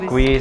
Děkuji.